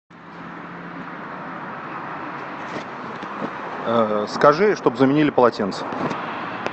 скажи чтоб заменили полотенце